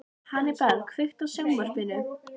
Hannibal, kveiktu á sjónvarpinu.